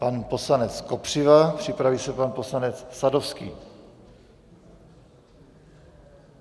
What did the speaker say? Pan poslanec Kopřiva, připraví se pan poslanec Sadovský.